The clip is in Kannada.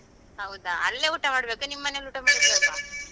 ಹೌದಾ ಅಲ್ಲೇ ಊಟ ಮಾಡ್ಬೇಕಾ ನಿಮ್ಮನೇಲಿ ಊಟ ಮಾಡುದು ಬೇಡ್ವಾ?